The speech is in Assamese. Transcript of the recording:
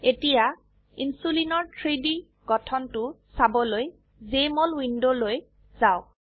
এতিয়া ইনসুলিনৰ 3ডি গঠনটো চাবলৈ জেএমঅল উইন্ডোলৈ যাওক